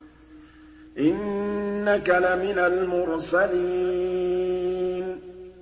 إِنَّكَ لَمِنَ الْمُرْسَلِينَ